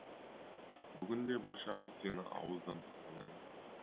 бүгінде баршамыз сені ауыздан тастамаймыз